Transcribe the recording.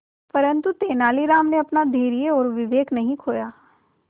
परंतु तेलानी राम ने अपना धैर्य और विवेक नहीं खोया